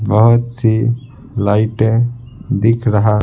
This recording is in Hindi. बहुत सी लाइटें दिख रहा--